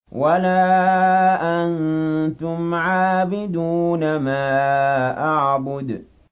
وَلَا أَنتُمْ عَابِدُونَ مَا أَعْبُدُ